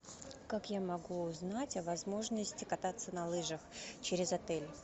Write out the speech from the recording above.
как я могу узнать о возможности кататься на лыжах через отель